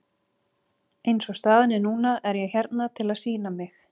Eins og staðan er núna er ég hérna til að sýna mig.